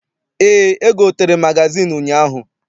Eé, egotere m magazịịnụ ụnyaahụ